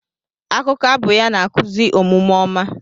Akụkọ abụ ya na-akụzi omume ọma.